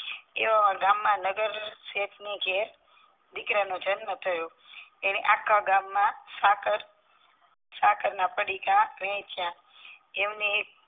એવામાં ગામા નગરશેઠ ની ઘેર જે દીકરાનો જન્મ એણે આખ્ખા ગામ સાકાર સાકારના પડીકા વેચ્યા અમને એક